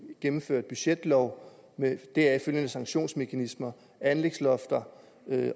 gennemført budgetlov med deraf følgende sanktionsmekanismer anlægslofter